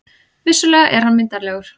Vissulega er hann myndarlegur.